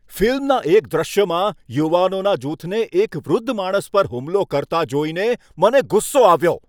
ફિલ્મના એક દૃશ્યમાં યુવાનોના જૂથને એક વૃદ્ધ માણસ પર હુમલો કરતા જોઈને મને ગુસ્સો આવ્યો.